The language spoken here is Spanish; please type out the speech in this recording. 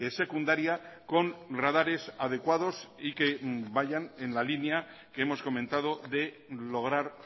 secundaria con radares adecuados y que vayan en la línea que hemos comentado de lograr